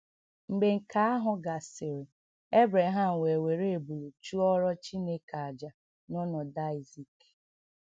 Mgbe nke ahụ gasịrị, Ebreham wee were ebulu chụọrọ Chineke àjà n’ọnọdụ Aịzik.